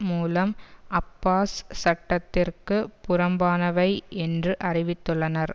மூலம் அப்பாஸ் சட்டத்திற்கு புறம்பானவை என்று அறிவித்துள்ளனர்